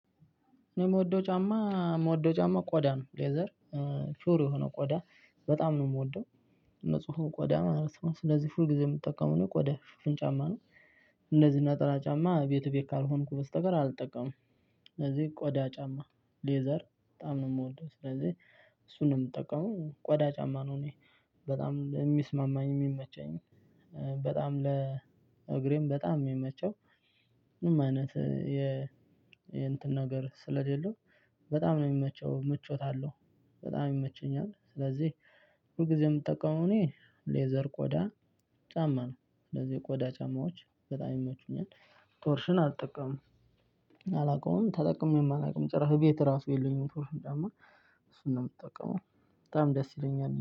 እኔ የምወደው ጫማ የምወደው ጫማ ቆዳ ነው። ሌዘር ፒውር የሆነው ቆዳ በጣም ነው የምወደው። ንጹህ ቆዳ ማለት ነው። ስለዚህ ሁልጊዜ የምጠቀመው እኔ ቆዳ ሽፍን ጫማ ነው። እንደዚህ ነጠላ ጫማ ቤት ቤት ካልሆንኩ በስተቀር አልጠቀምም። ስለዚህ ቆዳ ጫማ ሌዘር በጣም ነው የምወደው። ስለዚህ እሱን ነው የምጠቀመው ቆዳ ጫማ ነው እኔ። በጣም የሚስማማኝ የሚመቸኝ በጣም ለእግሬም በጣም የሚመቸው ምንም አይነት የ የእንትን ነገር ስለሌለው በጣም ነው የሚመቸው ምቾት አለው። በጣም ይመቸኛል። ስለዚህ ሁልጊዜ የምጠቀመው እኔ እኔ ሌዘር ቆዳ ጫማ ነው። ስለዚህ ቆዳ ጫማዎች በጣም ይመቹኛል። ቶርሽን አልጠቀምም። አላውቀውም። ተጠቅሜም አላውቅም። ጭራሽ ቤት ራሱ የለኝም ቶርሽን ጫማ። እሱን ነው የምጠቀመው። በጣም ደስ ይለኛል።